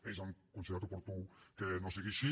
ells han considerat oportú que no sigui així